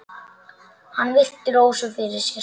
Hann virti Rósu fyrir sér.